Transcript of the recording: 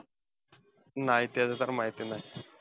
नाही, त्याच तर माहिती नाही.